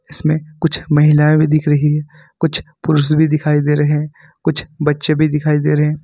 इसमें कुछ महिलाएं भी दिख रही है कुछ पुरुष भी दिखाई दे रहे कुछ बच्चे भी दिखाई दे रहे--